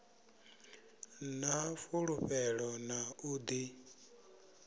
na fulufhelo ḽa u ḓi